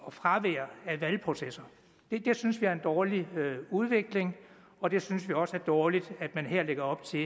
og fravær af valgprocesser det synes vi er en dårlig udvikling og det synes vi også er dårligt at man lægger op til